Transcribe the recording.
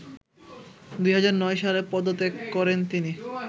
২০০৯ সালে পদত্যাগ করেন তিনি